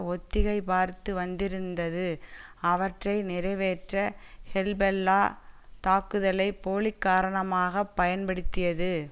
ஒத்திகை பார்த்து வந்திருந்தது அவற்றை நிறைவேற்ற ஹெல்பொல்லா தாக்குதலை போலி காரணமாக பயன்படுத்தியது